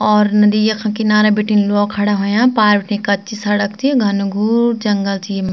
और नदी यखन किनारा बीटिन लोग खड़ा होयां पार बटी कच्ची सड़क चि घनघोर जंगल च येम।